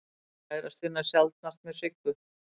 Kærastinn er sjaldnast með Siggu.